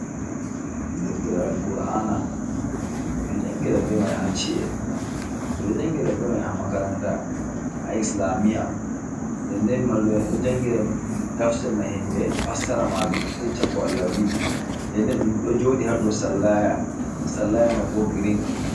Deftere Al kur'ana, ɓe ɗo jangira be mai haa ci'e ɓe ɗo jangira be mai haa makaranta, ha islamiya nden-nden mallu'en ɗo jangira tafsirna himɓe fassara majum, ɗo yecca ko Allah wi. Nden-nden ɗo joɗi haa dou sallaya. Sallaya mai bo green.